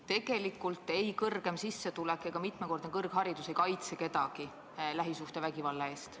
Tegelikult ei kaitse ei kõrgem sissetulek ega mitmekordne kõrgharidus kedagi lähisuhtevägivalla eest.